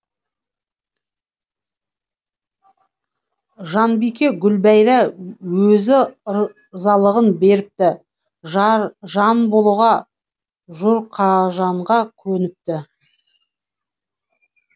жанбике гүлбәйра өзі ырзалығын беріпті жан болуға жұрқажанға көніпті